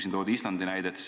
Siin toodi Islandi näide.